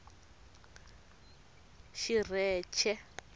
xirheche